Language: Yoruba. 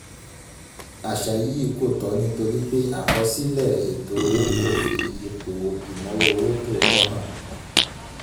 àṣà yìí kò tọ́ nítorí pé àkọsílẹ̀ ètò owó kò fi ipò ìnáwó owó tòótọ́ hàn.